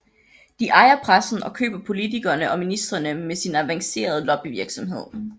De ejer pressen og køber politikerne og ministrene med sin avancerede lobbyvirksomhed